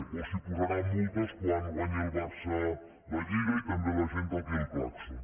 o si posaran multes quan guanyi el barça la lliga i també la gent toqui el clàxon